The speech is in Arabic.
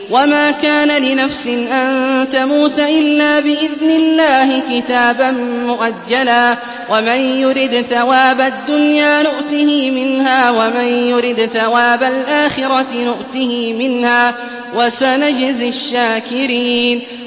وَمَا كَانَ لِنَفْسٍ أَن تَمُوتَ إِلَّا بِإِذْنِ اللَّهِ كِتَابًا مُّؤَجَّلًا ۗ وَمَن يُرِدْ ثَوَابَ الدُّنْيَا نُؤْتِهِ مِنْهَا وَمَن يُرِدْ ثَوَابَ الْآخِرَةِ نُؤْتِهِ مِنْهَا ۚ وَسَنَجْزِي الشَّاكِرِينَ